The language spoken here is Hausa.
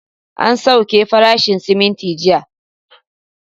An sauke farashin siminti jiya